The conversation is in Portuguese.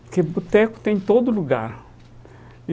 Porque boteco tem em todo lugar.